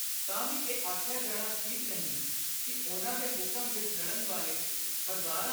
ਤਾਂ ਵੀ ਇਹ ਆਖਿਆ ਜਾਣਾ ਠੀਕ ਨਹੀਂ ਕਿ ਉਨ੍ਹਾਂ ਦੇ ਹੁਕਮ ਵਿਚ ਲੜਨ ਵਾਲੇ ਹਜ਼ਾਰਾਂ